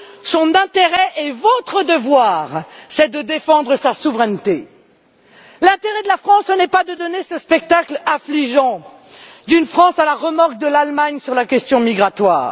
Son intérêt et votre devoir, c'est de défendre sa souveraineté. L'intérêt de la France, ce n'est pas de donner ce spectacle affligeant d'une France à la remorque de l'Allemagne sur la question migratoire.